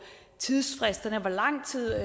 tidsfristerne hvor lang tid